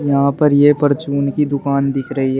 यहाँ पर ये परचून की दुकान दिख रही है।